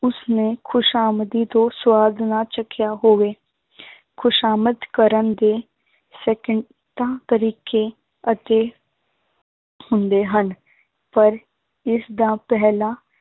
ਉਸਨੇ ਖ਼ੁਸ਼ਾਮਦੀ ਤੋਂ ਸਵਾਦ ਨਾ ਚੱਖਿਆ ਹੋਵੇ ਖ਼ੁਸ਼ਾਮਦ ਕਰਨ ਦੇ ਸਕਿੰਟਾਂ ਤਰੀਕੇ ਅਤੇ ਹੁੰਦੇ ਹਨ, ਪਰ ਇਸਦਾ ਪਹਿਲਾ